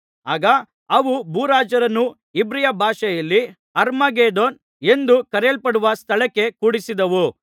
ಆಗ ಅವು ಭೂರಾಜರನ್ನು ಇಬ್ರಿಯ ಭಾಷೆಯಲ್ಲಿ ಅರ್ಮಗೆದ್ದೋನ್ ಎಂದು ಕರೆಯಲ್ಪಡುವ ಸ್ಥಳಕ್ಕೆ ಕೂಡಿಸಿದವು